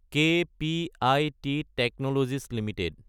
কেপিআইত Technologies Ltd